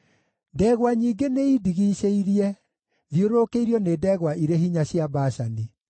Ndegwa nyingĩ nĩindigicĩirie; thiũrũrũkĩirio nĩ ndegwa irĩ hinya cia Bashani.